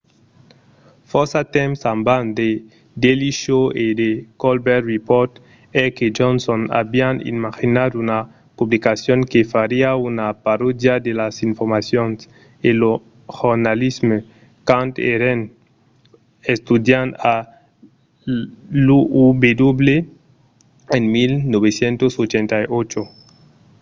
fòrça temps abans the daily show e the colbert report heck e johnson avián imaginat una publicacion que fariá una parodia de las informacions—e lo jornalisme— quand èran estudiants a l'uw en 1988